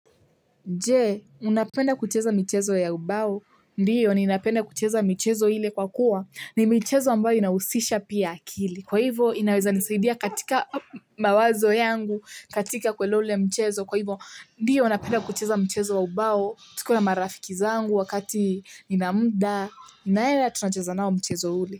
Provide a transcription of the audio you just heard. Je, unapenda kucheza michezo ya ubao? Ndio, ninapenda kucheza michezo ile kwa kuwa. Ni michezo ambayo inahusisha pia akili. Kwa hivo, inaweza nisaidia katika mawazo yangu, katika kuelewa ule mchezo. Kwa hivo, ndio, napenda kucheza mchezo wa ubao. Tukiwa na marafiki zangu wakati nina muda. Naenda tunacheza nao mchezo ule.